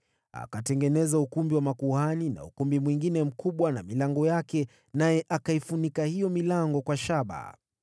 Akatengeneza ukumbi wa makuhani na ukumbi mwingine mkubwa na milango yake, naye akaifunika hiyo milango kwa shaba.